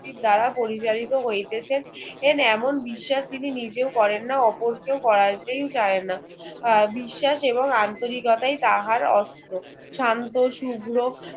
দ্বারা পরিচালিত হইতেছেন এমন বিশ্বাস তিনি নিজেও করেন না অপরকেও করাতেও চাননা আহ বিশ্বাস এবং আন্তরিকতায় তাহার অস্ত্র শান্ত শুভ্র